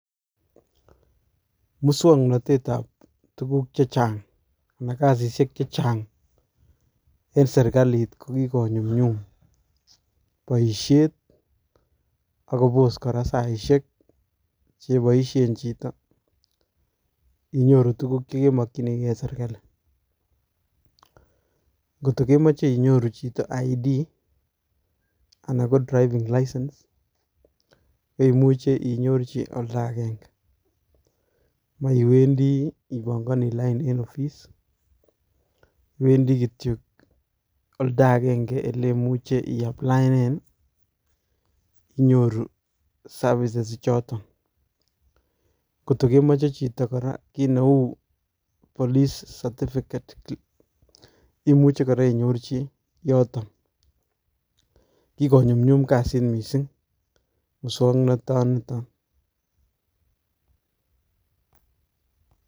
Musoknotet ab tuguk che chang anan kasisiek che chang eng serkalit ko Ki konyumnyum boishietab ak kobos kora saisiek cheboishien chito inyoru tuguuk eng serkali, ngoto kemoche chito inyoru Kipandet anan ko chomchinet ab ketisietab garit, imuche inyorchi oldaagenge meiwendi ipongoni lain eng ofis iwendi kityok olda agenge oleimuche iaplaenen inyorru services ichoto ,ngoto kemoche chito kora kit neu Police certificate imuche inyorchi yoton ak kikonyumnyum kasit missing muswoknotet nitok.